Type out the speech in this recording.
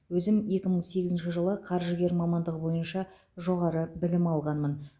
өзім екі мың сегізінші жылы қаржыгер мамандығы бойынша жоғары білім алғанмын